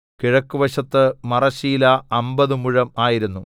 കിഴക്കുവശത്ത് മറശ്ശീല അമ്പത് മുഴം ആയിരുന്നു